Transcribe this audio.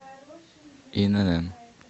инн